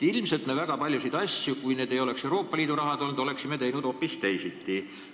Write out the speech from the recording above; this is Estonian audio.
Ilmselt me oleksime siis, kui ei oleks olnud Euroopa Liidu raha, teinud väga paljusid asju hoopis teisiti.